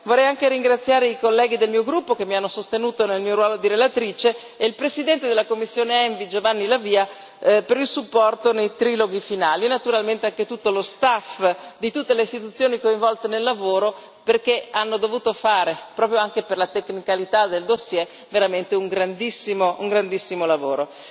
Vorrei anche ringraziare i colleghi del mio gruppo che mi hanno sostenuto nel mio ruolo di relatrice e il presidente della commissione ENVI, Giovanni La Via, per il sostegno nei triloghi finali e, naturalmente, anche tutto lo staff di tutte le istituzioni coinvolte nel lavoro, perché hanno dovuto fare, proprio anche per la tecnicità del dossier, veramente un grandissimo lavoro.